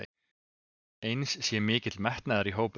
Eins sé mikill metnaður í hópnum